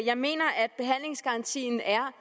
jeg mener at behandlingsgarantien er